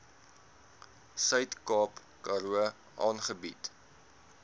suidkaap karoo aangebied